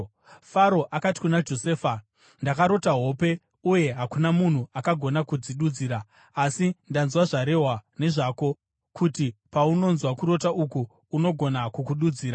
Faro akati kuna Josefa, “Ndakarota hope, uye hakuna munhu akagona kudzidudzira. Asi ndanzwa zvarehwa nezvako kuti paunonzwa kurota uku, unogona kukududzira.”